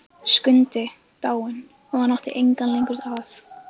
Skundi dáinn og hann átti engan lengur að.